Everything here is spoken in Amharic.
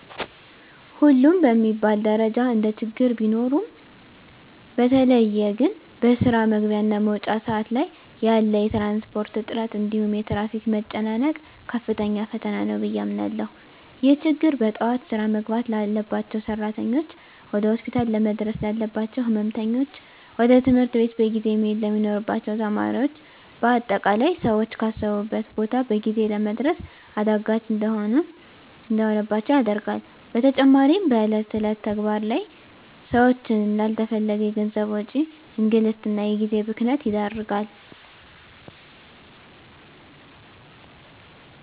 ሁሉም በሚባል ደረጃ እንደችግር ቢኖሩም በተለየ ግን በስራ መግቢያ እና መውጫ ሰአት ላይ ያለ የትራንስፖርት እጥረት እንዲሁም የትራፊክ መጨናነቅ ከፍተኛ ፈተና ነው ብየ አምናለሁ። ይህ ችግር በጠዋት ስራ መግባት ላባቸው ሰራተኞች፣ ወደ ሆስፒታል ለመድረስ ላለባቸው ህመምተኞች፣ ወደ ትምህርት ቤት በጊዜ መሄድ ለሚኖርባቸው ተማሪዎች በአጠቃላይ ሰወች ካሰቡት ቦታ በጊዜ ለመድረስ አዳጋች እንዲሆንባቸው ያደርጋል። በተጨማሪም በእለት እለት ተግባር ላይ ሰወችን ላለተፈለገ የገንዘብ ወጪ፣ እንግልት እና የጊዜ ብክነት ይዳርጋል።